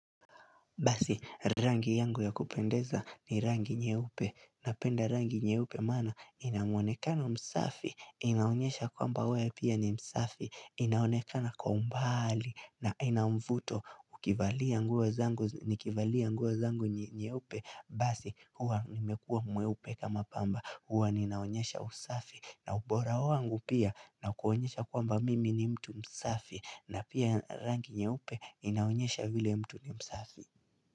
Basi, rangi yangu ya kupendeza ni rangi nyeupe, napenda rangi nyeupe maana, inamuonekano msafi, inaonyesha kwamba wewe pia ni msafi, inaonekana kwa umbali, na ina mvuto, ukivalia nguo zangu, nikivalia nguo zangu nyeupe, basi huwa nimekuwa mweupe kama pamba, huwa ninaonyesha usafi, na ubora wangu pia, na kuonyesha kwamba mimi ni mtu msafi, na pia rangi nyeupe inaonyesha vile mtu ni msafi.